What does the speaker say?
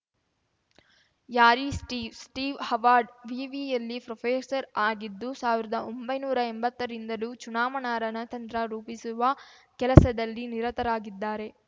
ಯಾರೀ Steve Steve Harvard ವಿವಿಯಲ್ಲಿ professor ಆಗಿದ್ದು ಸಾವಿರ್ದಾ ಒಂಬೈನೂರಾ ಎಂಬತ್ತರಿಂದಲೂ ಚುನಾವಣಾ ರಣತಂತ್ರ ರೂಪಿಸುವ ಕೆಲಸದಲ್ಲಿ ನಿರತರಾಗಿದ್ದಾರೆ